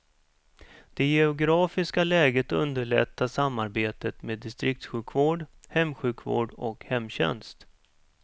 Det geografiska läget underlättar samarbetet med distriktssjukvård, hemsjukvård och hemtjänst.